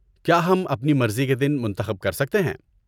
کیا ہم اپنی مرضی کے دن منتخب کر سکتے ہیں؟